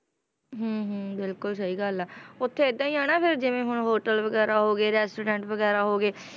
ਹਮ ਹਮ ਬਿਲਕੁਲ ਸਹੀ ਗੱਲ ਹੈ, ਉੱਥੇ ਏਦਾਂ ਹੀ ਆ ਨਾ ਫਿਰ ਜਿਵੇਂ ਹੁਣ hotel ਵਗ਼ੈਰਾ ਹੋ ਗਏ restaurant ਵਗ਼ੈਰਾ ਹੋ ਗਏ,